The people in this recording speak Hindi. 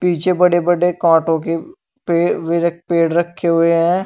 पीछे बड़े बड़े कांटों के पेड़ रखे हुए हैं।